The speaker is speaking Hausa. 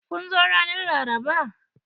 Kun zo ranar Laraba?